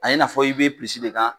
A ye n'a fɔ i bɛ de kan.